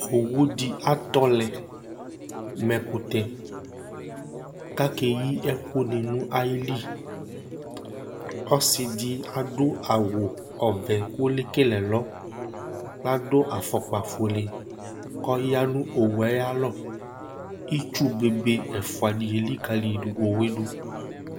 Owu di atɔ lɛ mʋ ɛkʋtɛ kʋ akeyi ɛkʋ ni nʋ ayìlí Ɔsi di adu awu ɔvɛ kʋ lekele ɛlɔ Ladu afɔkpa fʋele kʋ ɔya nʋ owu ye ayʋ alɔ Itsu be be ɛfʋa di elikali owu ye du